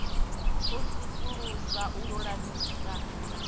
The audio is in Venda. u sudzulusa u lulamisa na